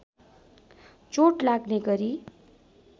चोट लाग्ने गरी